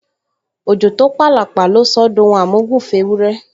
Òjò tó p’àlàpà ló sọ ọ́ d’ohun àmúgùn f’éwúrẹ́